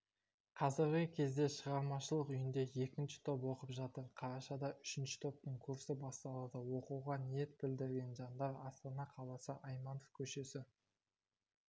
қазіргі кезде шығармашылық үйінде екінші топ оқып жатыр қарашада үшінші топтың курсы басталады оқуға ниет білдірген жандар астана қаласы айманов көшесі